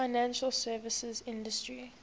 financial services industry